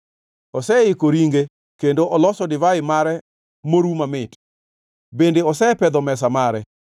Oseiko ringe kendo oloso divai mare moru mamit, bende osepedho mesa mare.